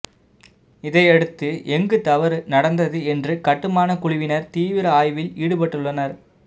இதையடுத்து எங்கு தவறு நடந்தது என்று கட்டுமான குழுவினர் தீவிர ஆய்வில் ஈடுபட்டுள்ளனர்